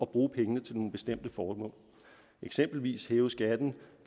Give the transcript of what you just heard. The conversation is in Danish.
bruge penge til nogle bestemte formål eksempelvis hæve skatten